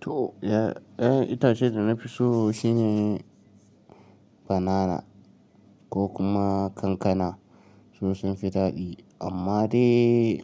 To ya'yan itacen da na fi so shine banana ko kuma kankana. Su sun fi daɗi amma dai